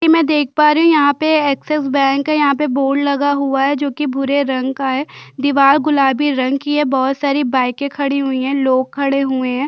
कि मै देख पा रही हू यहाँ पे ऍक्सिस बैक है यहाँ पे बोर्ड लगा हूआ है जो कि भुरे रंग का है दिवाल गुलाबी रंग कि है बहोत सारी बाईके खड़ी हुई है लोग खड़े हुए है।